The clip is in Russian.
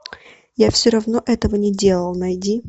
я все равно этого не делал найди